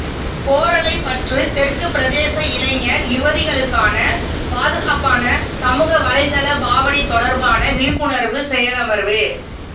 கோறளைப்பற்று தெற்கு பிரதேச இளைஞர் யுவதிகளுக்கான பாதுகாப்பான சமூகவலைத்தள பாவனை தொடர்பான விழிப்புணர்வு செயலமர்வு